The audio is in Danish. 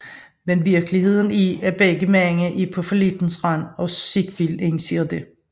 Men virkeligheden er at begge mænd er på fallittens rand og Ziegfeld indser dette